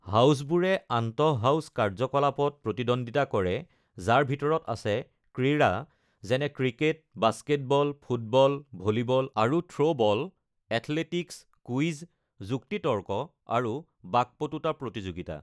হাউছবোৰে আন্তঃ-হাউছ কাৰ্য্যকলাপত প্ৰতিদ্বন্দ্বিতা কৰে, যাৰ ভিতৰত আছে ক্ৰীড়া (যেনে ক্ৰিকেট, বাস্কেটবল, ফুটবল, ভলীবল, আৰু থ্ৰ'বল), এথলেটিকছ, কুইজ, যুক্তি-তৰ্ক, আৰু বাকপটুতা প্ৰতিযোগিতা।